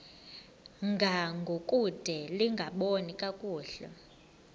ngangokude lingaboni kakuhle